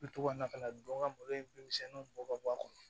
U bɛ to ka na ka na don n ka malo in bin misɛnninw bɔ ka bɔ a kɔnɔ